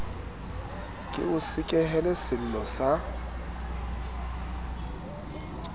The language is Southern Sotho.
ke o sekehele sello sa